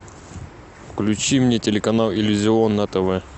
включи мне телеканал иллюзион на тв